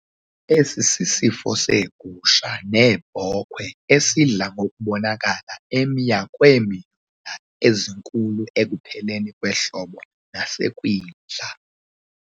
Esi sisifo seegusha neebhokhwe esidla ngokubonakala emya kweemyula ezinkulu ekupheleni kwehlobo nasekwindla.